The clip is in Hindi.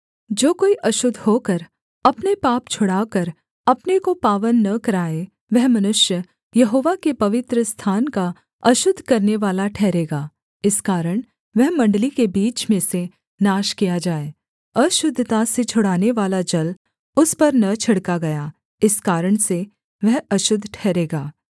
जो कोई अशुद्ध होकर अपने पाप छुड़ाकर अपने को पावन न कराए वह मनुष्य यहोवा के पवित्रस्थान का अशुद्ध करनेवाला ठहरेगा इस कारण वह मण्डली के बीच में से नाश किया जाए अशुद्धता से छुड़ानेवाला जल उस पर न छिड़का गया इस कारण से वह अशुद्ध ठहरेगा